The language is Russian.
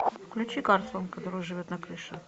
включи карлсон который живет на крыше